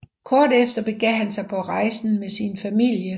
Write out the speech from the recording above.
Kort efter begav han sig på rejsen med sin familie